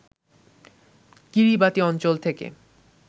Kiribati অঞ্চল থেকে